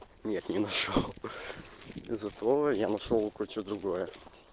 нет не нашёл зато я нашёл кое-что другое